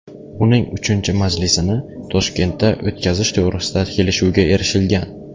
Uning uchinchi majlisini Toshkentda o‘tkazish to‘g‘risida kelishuvga erishilgan.